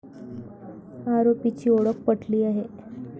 आरोपीची ओळख पटली आहे.